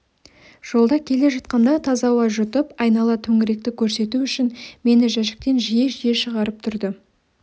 жолда келе жатқанда таза ауа жұтып айнала төңіректі көрсету үшін мені жәшіктен жиі-жиі шығарып тұрды